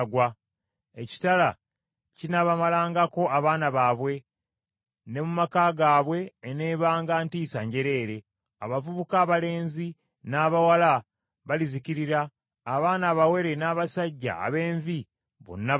Ekitala kinaabamalangako abaana baabwe ne mu maka gaabwe eneebanga ntiisa njereere. Abavubuka abalenzi n’abawala balizikirira abaana abawere n’abasajja ab’envi bonna batyo.